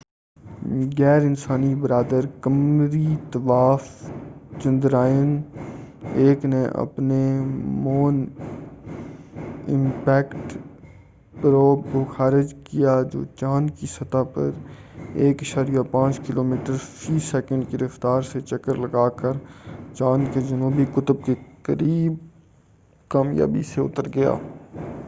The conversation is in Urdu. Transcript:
غیر انسان بردار قمری طوّاف چندرائن-1 نے اپنے مون امپیکٹ پروب کو خارج کیا جو چاند کی سطح پر 1.5 کلومیٹر فی سیکنڈ 3000 میل فی گھنٹہ کی رفتار سے چکر لگا کر چاند کے جنوبی قطب کے قریب کامیابی سے اتر گیا۔